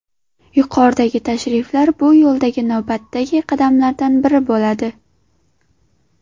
Yuqoridagi tashriflar bu yo‘ldagi navbatdagi qadamlardan biri bo‘ladi.